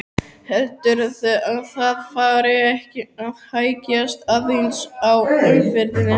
Heldurðu að það fari ekki að hægjast aðeins á umferðinni?